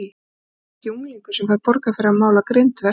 Þetta er þó ekki unglingur sem fær borgað fyrir að mála grindverk?